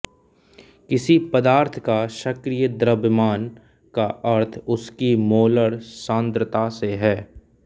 किसी पदार्थ का सक्रिय द्रव्यमान का अर्थ उसकी मोलर सान्द्रता से है